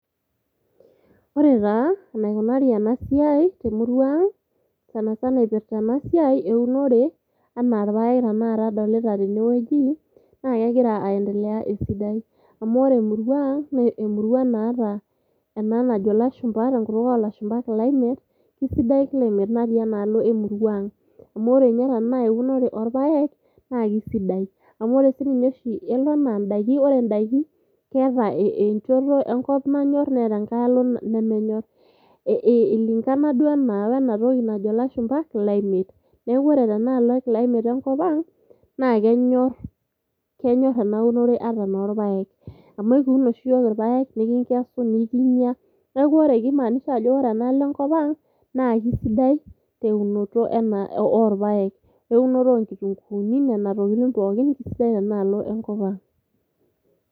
ore taa enaikunari ena siai temurua ang sanasana ipirrta ena siai eunore anaa irpayek tanakata adolita tenewueji naa kegira aendelea esidai amu ore emurua ang naa emurua naata ena najo ilashumpa tenkutuk olashumpa climate kisidai climate natii ena alo emurua ang amu ore ninye tana eunore orpayek naa kisidai amu ore sininye oshi elo anaa indaiki wore indaiki keeta enchoto enkop nanyorr neeta enkae alo nemenyorr eilingana duo enaa wenatoki najo ilashumpa climate niaku ore tenaalo climate enkop ang naa kenyorr, kenyorr ena unore ata enorpayek amu ekiun oshi iyiok irpayek nikinkesu nikinyia neeku ore kimaanisha ajo wore enaalo enkop ang naa kisidai teunoto ena orpayek weunoto onkitunguuni nena tokitin pookin kisidai tena alo enkop ang.